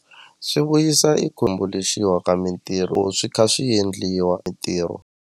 Swi vuyisa i ka mintirho swi kha swi endliwa mintirho.